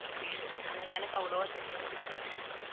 ஆனா எனக்கு அவ்வளவா தெரியாது இங்க